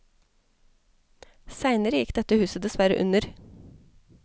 Seinere gikk dette huset desverre under.